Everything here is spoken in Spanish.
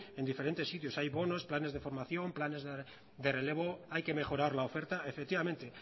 en diferentes sitios hay bonos planes de formación planes de relevo hay que mejorar la oferta efectivamente